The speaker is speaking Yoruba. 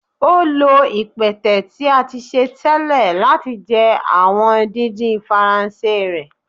o lo ipẹtẹ ti a ti ṣe tẹlẹ lati jẹ awọn didin Faranse rẹ.